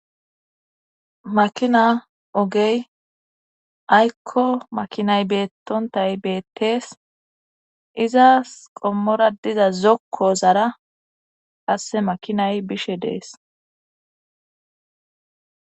makina ogey aykko makinay beettontay beettees izas qommora diza zokko zara qasse makinay bishe dees